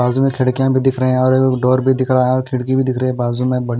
बाजू मैं खिड़कियां भी दिख रहे हैं और डोर भी दिख रहा है खिड़की भी दिख रहे हैं बाजू में--